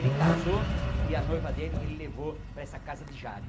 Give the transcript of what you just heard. Ele casou e a noiva dele ele levou para essa casa de Jade.